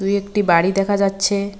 দু একটি বাড়ি দেখা যাচ্ছে।